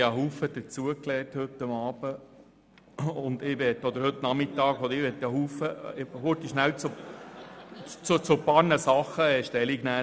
Ich habe heute Abend – beziehungsweise heute Nachmittag – vieles dazugelernt und möchte zu ein paar Punkten Stellung nehmen.